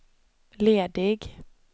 ledig